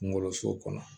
Kungolo so kɔnɔ